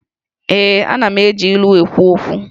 Ee, Ana m eji ilu ekwu okwu